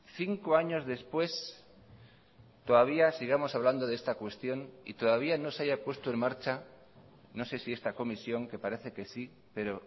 cinco años después todavía sigamos hablando de esta cuestión y todavía no se haya puesto en marcha no sé si esta comisión que parece que sí pero